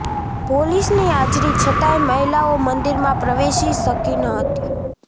પોલીસની હાજરી છતાંય મહિલાઓ મંદિરમાં પ્રવેશી શકી ન હતી